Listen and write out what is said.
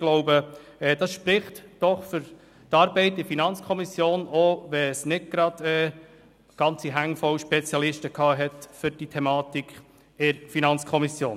Ich glaube, das spricht für die Arbeit in der FiKo, selbst wenn es dort nicht viele Spezialisten für diese Thematik gab.